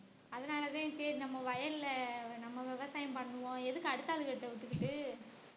அதனாலதான் சரி நம்ம வயல்ல நம்ம விவசாயம் பண்ணுவோம் எதுக்கு அடுத்த ஆளுகிட்ட வித்துகிட்டு